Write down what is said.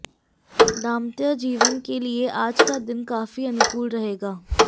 दांपत्य जीवन के लिए आज का दिन काफी अनुकूल रहेगा